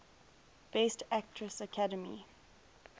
best actress academy